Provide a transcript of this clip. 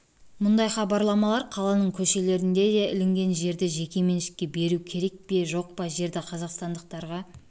мұндай хабарламалар қаланың көшелеріне де ілінген жерді жеке меншікке беру керек пе жоқ па жерді қазақстандықтарға